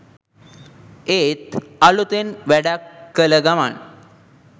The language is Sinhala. ඒත් අළුතෙන් වැඩක් කල ගමන්.